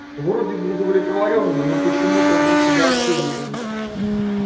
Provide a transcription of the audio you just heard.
вроде бы удовлетворённо но почему-то и с огорчением